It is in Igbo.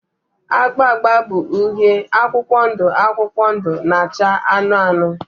agba agba bụ uhie, akwụkwọ ndụ akwụkwọ ndụ na acha anụnụ anụnụ